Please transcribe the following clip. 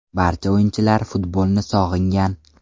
Barcha o‘yinchilar futbolni sog‘ingan.